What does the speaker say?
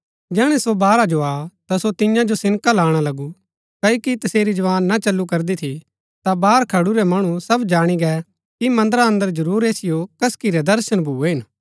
जैहणै सो बाहरा जो आ ता सो तियां जो सिनका लाणा लगु क्ओकि तसेरी जवान ना चल्‍लु करदी थी ता बाहर खडुरै मणु सब जाणी गै कि मन्दरा अन्दर जरुर ऐसिओ कसकी रै दर्शन भुऐ हिन